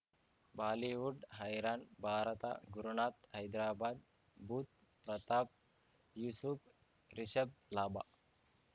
Bollywood ಹೈರಾಣ್ ಭಾರತ ಗುರುನಾಥ್ ಹೈದ್ರಾಬಾದ್ ಬುಧ್ ಪ್ರತಾಪ್ ಯೂಸುಫ್ ರಿಷಬ್ ಲಾಭ